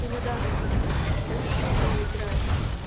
и на данный момент большую роль играет